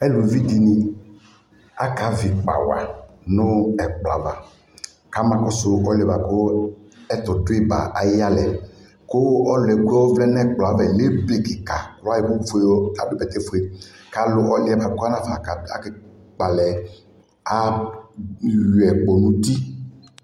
alʋvi dini aka vi ikpa wa, nʋ ɛkplɔ aɣa kama kɔsʋ ɔlʋɛ kʋ ɛtʋ dʋi ba ayi yalɛ kʋ ɔlʋɛ kʋ ɔvlɛ nʋ ɛkplɔɛ aɣa lɛ ɛbɛ kikaa kʋ ayɔ ɛkʋ fʋɛ adʋ bɛtɛ ƒʋɛ kʋ alʋ ɔlʋɛ kʋ ɔtanafa ka kpɔ alɛ ayɔi kpɔ nʋ ʋti